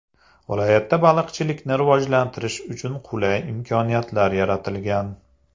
Viloyatda baliqchilikni rivojlantirish uchun qulay imkoniyatlar yaratilgan.